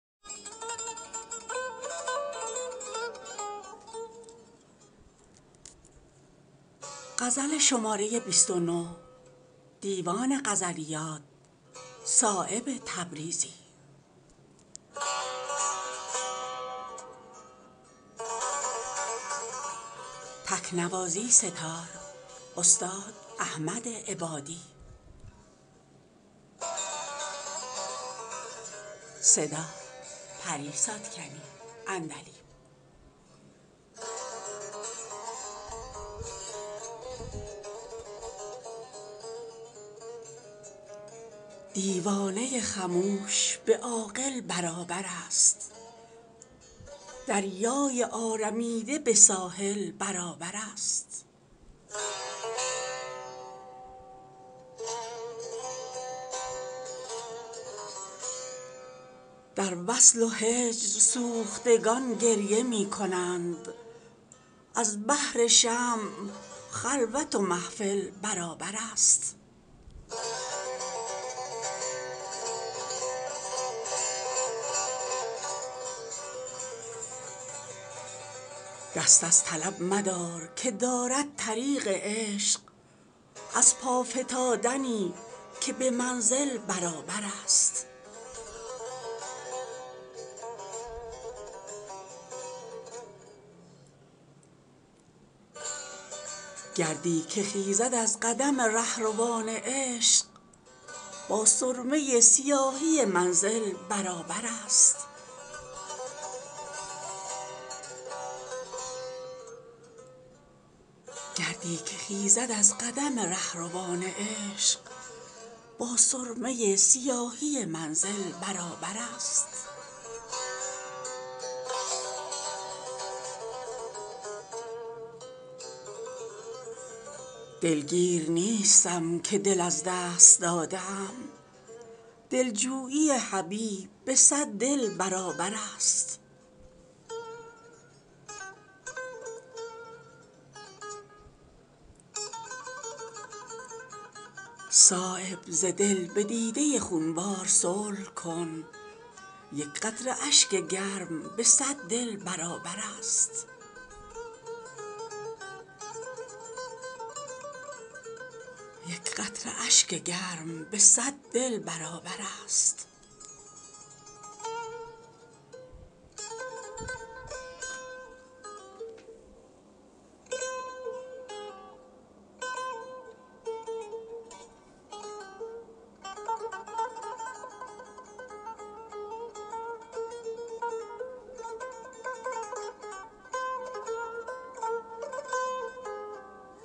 دیوانه خموش به عاقل برابرست دریای آرمیده به ساحل برابرست گردی که خیزد از قدم رهروان عشق با سرمه سیاهی منزل برابرست دارد به چهره گوهر ما در محیط عشق گرد یتیمیی که به ساحل برابرست در وصل و هجر سوختگان گریه می کنند از بهر شمع خلوت و محفل برابرست رحم است بر کسی که نرست است از خودی این قید با هزار سلاسل برابرست دلگیر نیستم که دل از دست داده ام دلجویی حبیب به صد دل برابرست در زیر پای سدره و طوبی است مرقدش هر کشته را که جلوه قاتل برابرست می رقصی از نشاط می ناب غافلی کاین رقص با تپیدن بسمل برابرست فهم رموز عشق ز ادراک برترست اینجا شعور عالم و جاهل برابرست دست از طلب مدار که دارد طریق عشق از پا فتادنی که به منزل برابرست آخر به وصل شمع چو پروانه می رسد هر دیده را که روشنی دل برابرست در کشوری که عشق گرانمایه گوهری است در یتیم و آبله دل برابرست صایب ز دل به دیده خونبار صلح کن یک قطره اشک گرم به صد دل برابرست